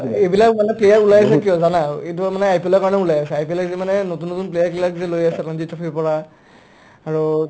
অ, এইবিলাক মানুহে player ওলাইছে কিয় জানা ইটোঔ মানে IPLৰ কাৰণে ওলাই আছে IPL লে কিছুমানে নতুন নতুন player বিলাকক লৈ আছে ৰঞ্জী ট্ৰফীৰ পৰা আৰু